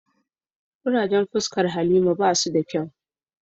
Kurajen fuscan halima ba su da kyau.